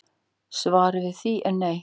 Svarið við því er nei